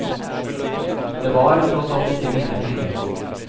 Det var tross alt ikke mine penger.